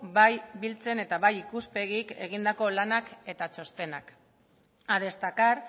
bai biltzen eta bai ikuspegik egindako lanak eta txostenak a destacar